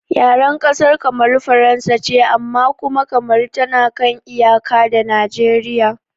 Yaren ƙasar Kamaru Faransa ce amma kuma Kamaru tana kan iyaka da Nijeriya